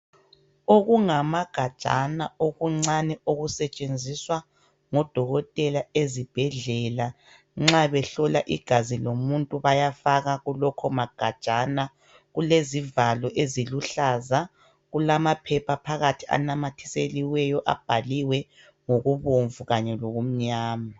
Okungangamagajana okuncane okusetshenziswa ngomongikazi ezibhedlela nxa behlola igazi lomuntu bayafaka kulawo magajana, kulezivalo eziluhlaza kulamaphepha ananyathiselweyo lezivalo ezimnyama.